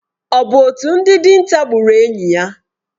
Ọ bụ otu ndị dinta gburu enyí a?